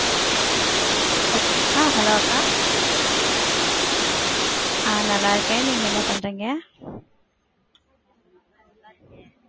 ஹ ஆஹ் hello அக்கா, ஆஹ் நல்லா இருக்கேன். நீங்க என்ன பண்றீங்க?